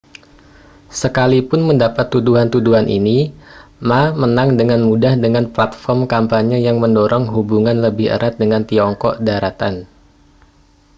sekalipun mendapat tuduhan-tuduhan ini ma menang dengan mudah dengan platform kampanye yang mendorong hubungan lebih erat dengan tiongkok daratan